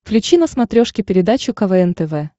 включи на смотрешке передачу квн тв